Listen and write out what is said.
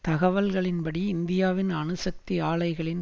தகவல்களின்படி இந்தியாவின் அணுசக்தி ஆலைகளின்